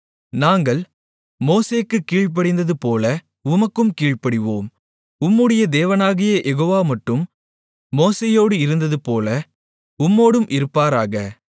நாங்கள் மோசேக்குக் கீழ்ப்படிந்ததுபோல உமக்கும் கீழ்ப்படிவோம் உம்முடைய தேவனாகிய யெகோவா மட்டும் மோசேயோடு இருந்ததுபோல உம்மோடும் இருப்பாராக